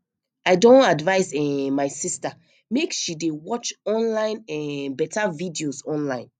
i don advice um my sister make she dey watch online um beta videos online